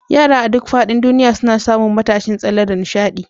Yara a duk faɗin duniya suna samun matashin tsalle da nishaɗi.